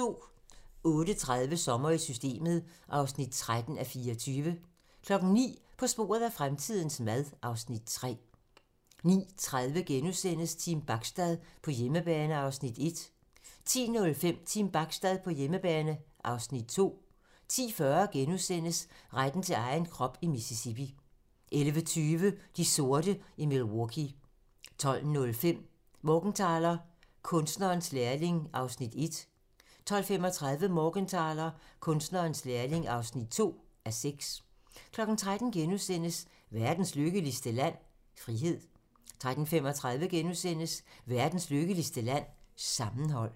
08:30: Sommer i Systemet (13:24) 09:00: På sporet af fremtidens mad (Afs. 3) 09:30: Team Bachstad på hjemmebane (Afs. 1)* 10:05: Team Bachstad på hjemmebane (Afs. 2) 10:40: Retten til egen krop i Mississippi * 11:20: De sorte i Milwaukee 12:05: Morgenthaler: Kunstnerens lærling (1:6) 12:35: Morgenthaler: Kunstnerens lærling (2:6) 13:00: Verdens Lykkeligste Land? - Frihed * 13:35: Verdens lykkeligste land? - Sammenhold